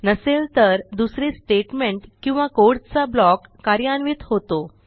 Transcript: नसेल तर दुसरे स्टेटमेंट किंवा कोड चा ब्लॉक कार्यान्वित होतो